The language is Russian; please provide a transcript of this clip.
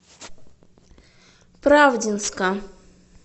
правдинска